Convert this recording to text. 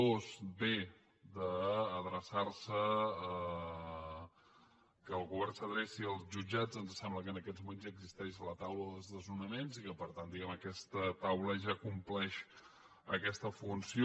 dos que el govern s’adreci als jutjats ens sembla que en aquests moments ja existeix la taula de desnonaments i que per tant aquesta taula ja compleix aquesta funció